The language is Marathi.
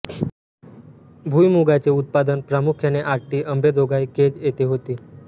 भुईमुगाचे उत्पादन प्रामुख्याने आष्टी अंबेजोगाई केज येथे होते